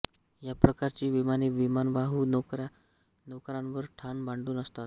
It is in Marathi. या प्रकारची विमाने विमानवाहू नौकांवर ठाण मांडून असतात